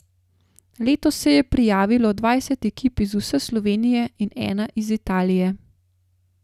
Letos se je prijavilo dvajset ekip iz vse Slovenije in ena iz Italije.